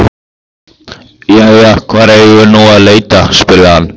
Jæja, hvar eigum við nú að leita? spurði hann.